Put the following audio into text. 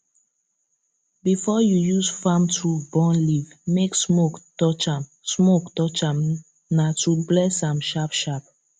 before you use farm tool burn leaf make smoke touch am smoke touch am na to bless am sharpsharp